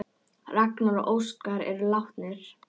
Ragnar og Óskar eru látnir.